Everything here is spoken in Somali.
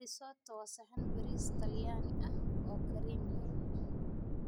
Risotto waa saxan bariis Talyaani ah oo kareem leh.